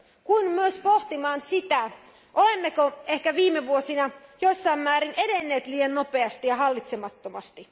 Kuin myös pohtimaan sitä, olemmeko ehkä viime vuosina jossain määrin edenneet liian nopeasti ja hallitsemattomasti.